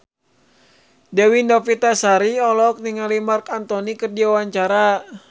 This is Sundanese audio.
Dewi Novitasari olohok ningali Marc Anthony keur diwawancara